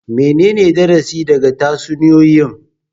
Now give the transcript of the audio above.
Menene darasi daga tatsuniyoyi?